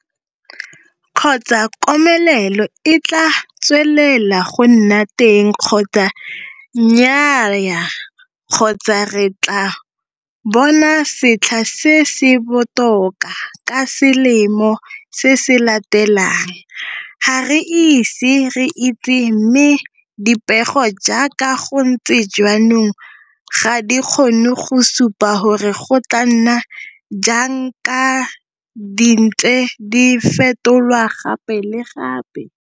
Kgotsa komelelo e tlaa tswelela go nna teng kgotsa nnyaaya kgotsa re tlaa bona setlha se se botoka ka selemo se se latelang ga re ise re itse mme dipego jaaka go ntse jaanong ga di kgone go supa gore go tlaa nna jang ka di ntse di fetolwa gape le gape.